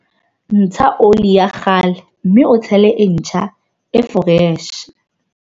Ntsha ole ya kgale, mme o tshele e ntjha, e foreshe.